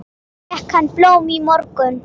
Fékk hann blóm í morgun?